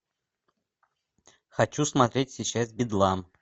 хочу смотреть сейчас бедлам